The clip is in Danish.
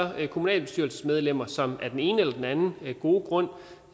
kommunalbestyrelsesmedlemmer som af den ene eller anden gode grund